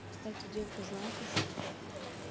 кстати девка знает а что